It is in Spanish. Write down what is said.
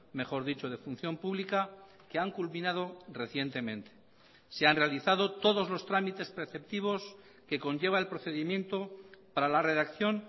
mejor dicho de función pública que han culminado recientemente se han realizado todos los trámites preceptivos que conlleva el procedimiento para la redacción